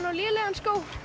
og lélegur